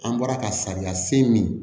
An bɔra ka sariya sen min